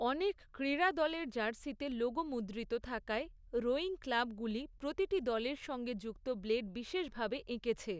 অনেক ক্রীড়া দলের জার্সিতে লোগো মুদ্রিত থাকায়, রোয়িং ক্লাবগুলি, প্রতিটি দলের সঙ্গে যুক্ত ব্লেড বিশেষভাবে এঁকেছে।